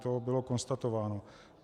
To bylo konstatováno.